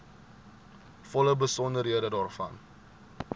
volle besonderhede daarvan